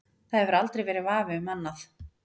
Það hefur aldrei verið vafi um annað.